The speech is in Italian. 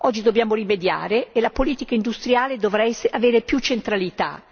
oggi dobbiamo rimediare e la politica industriale dovrà avere più centralità.